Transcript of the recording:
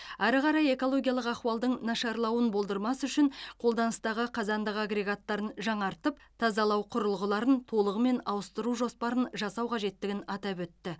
әрі қарай экологиялық ахуалдың нашарлауын болдырмас үшін қолданыстағы қазандық агрегаттарын жаңартып тазалау құрылғыларын толығымен ауыстыру жоспарын жасау қажеттігін атап өтті